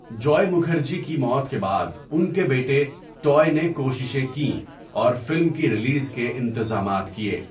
جوئے مکھرجی کی موت کے بعد ان کے بیٹے ٹوئے نے کوششیں کیں اور فلم کی ریلیز کے انتظامات کیے۔